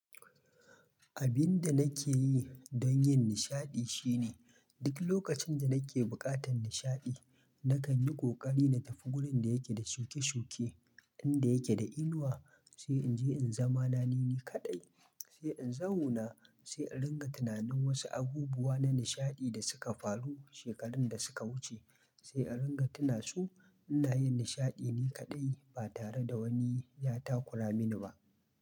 Abin da nake yi don yin nishaɗi shine duk lokacin da nake buƙatar nishaɗi, na kan yi ƙoƙari na tafi wurin da yake da shuke-shuke, inda yake da inuwa, sai in je in zama nanine kaɗai, sai in zauna, sai a ringa tunanin wasu abubuwa na nishaɗi da suka faru shekarun da suka wuce, sai a ringa tuna su. Ina yin nishaɗi ne kaɗai ba tare da wani ya takura mini ba.